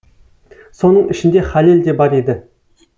соның ішінде хәлел де бар еді